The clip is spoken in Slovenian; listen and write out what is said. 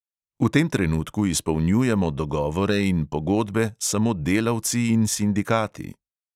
V tem trenutku izpolnjujemo dogovore in pogodbe samo delavci in sindikati.